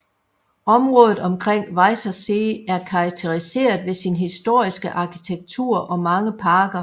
Området omkring Weißer See er karakteriseret ved sin historiske arkitektur og mange parker